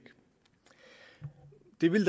det vil